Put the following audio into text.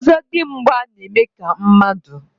ọzọdimgba na-eme ka mmadụ.